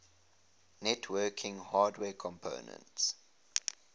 networking hardware companies